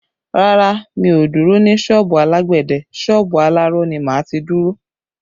Rárá, mi ò dúró ní sọ́ọ̀bù alágbẹ̀dẹ, sọ́ọ̀bù aláró ni máa ti dúró